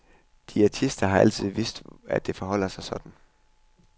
Diætister har altid vidst, at det forholder sig sådan.